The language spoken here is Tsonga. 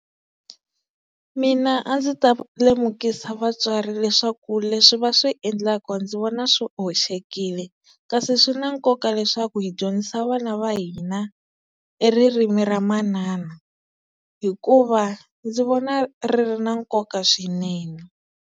Mina a ndzi ta lemukisa vatswari leswaku leswi va swi endlaka ndzi vona swi hoxekile kasi swi na nkoka leswaku hi dyondzisa vana va hina e ririmi ra manana hikuva ndzi vona ri ri na nkoka swinene.